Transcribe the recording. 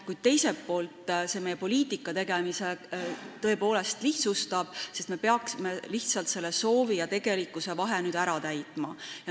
Kuid teiselt poolt see meie poliitikategemist tõepoolest lihtsustab, sest me peaksime lihtsalt selle soovi ja tegelikkuse vahe ära täitma.